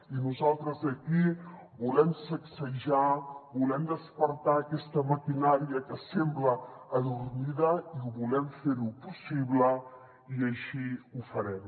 i nosaltres aquí volem sacsejar volem despertar aquesta maquinària que sembla adormida i ho volem fer possible i així ho farem